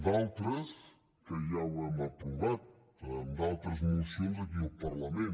d’altres que ja les hem aprovat amb altres mocions aquí al parlament